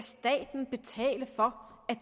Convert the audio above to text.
betale for at